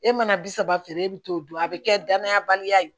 E mana bi saba feere e bi t'o dɔn a bi kɛ danaya baliya ye